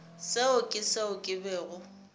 seo ke seo ke bego